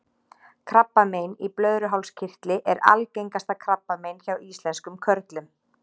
krabbamein í blöðruhálskirtli er algengasta krabbamein hjá íslenskum körlum